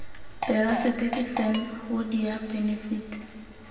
terasete the san hoodia benefit